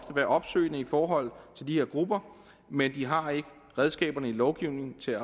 være opsøgende i forhold til de her grupper men de har ikke redskaberne i lovgivningen til